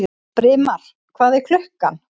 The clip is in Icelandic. Brimar, hvað er klukkan?